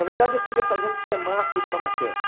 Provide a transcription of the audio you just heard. Na verdade eu queria fazer um semáforo para maquete.